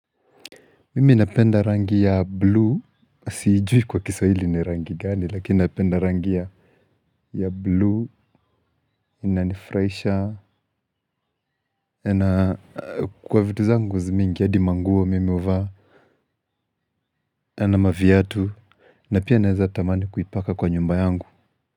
Mimi napenda rangi ya blue, siijui kwa kiswahili ni rangi gani, lakini napenda rangi ya blue, inanifuraisha. Na kwa vitu zangu mingi, hadi manguo mimi huvaa. Na maviatu. Na pia naeza tamani kuipaka kwa nyumba yangu.